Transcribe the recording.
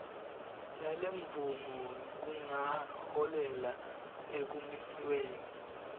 yalemvumo kungaholela ekumisweni